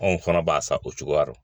Anw fana b'a sa o cogoyarɔ.